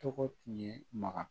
Tɔgɔ tun ye maga